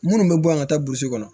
Minnu bɛ bɔ yan ka taa burusi kɔnɔ